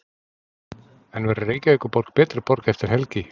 En verður Reykjavíkurborg betri borg eftir helgi?